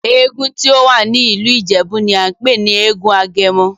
Èègún tí o wá ní ìlú Ìjèbú ní a npè ní èègún Agemo